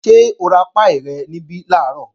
Ṣé o ra páì rẹ̀ níbí làárọ̀?